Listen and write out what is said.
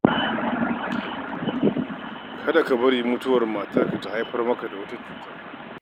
Kada ka bari mutuwar matarka ta haifar maka da wata cuta.